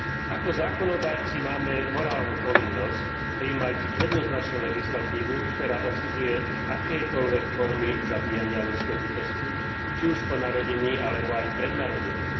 Ako zákonodarci máme morálnu povinnosť prijímať jednoznačnú legislatívu, ktorá odsudzuje akékoľvek formy zabíjania ľudskej bytosti, či už po narodení alebo aj pred narodením.